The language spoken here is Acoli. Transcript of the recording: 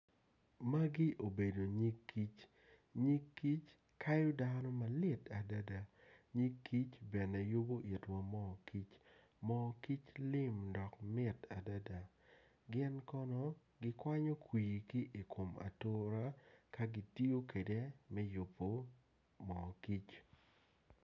Magi obedo nyig kic nnyig kic kayo dano malit adada nyig kic bene yubu itwa moo kic moo kic lim dok mit adada gin kono gikwanyo kwi ki i atura ka gitiyo kede me yubu moo kic